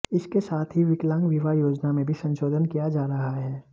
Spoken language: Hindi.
इसके साथ ही विकलांग विवाह योजना में भी संशोधन किया जा रहा है